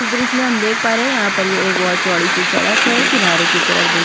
इस दृश्य मे हम देख पा रहै है यहाँ पर ये एक बहुत चौड़ी सी सड़क है किनारे की तरफ देखिए--